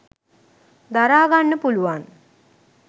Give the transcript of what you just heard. දරාගන්න පුළුවන්.